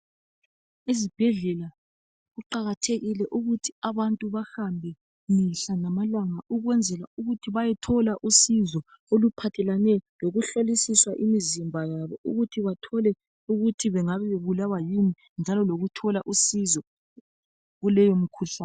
Izibhedlela kuqakathekile ukuthi abantu bahambe mihla ngamalanga ukwenzela ukuthi bayethola usizo oluphathelane lokuhlolisiswa imizimba yabo ukuthi bathole ukuthi bengabe bebulawa yini njalo lokuthola usizo kuleyo mkhuhlane.